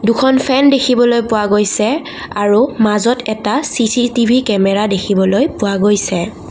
দুখন ফেন দেখিবলৈ পোৱা গৈছে আৰু মাজত এটা চি_চি_টি_ভি কেমেৰা দেখিবলৈ পোৱা গৈছে।